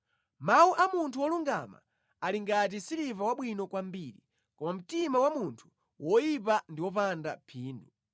Mawu a munthu wolungama ali ngati siliva wabwino kwambiri, koma mtima wa munthu woyipa ndi wopanda phindu.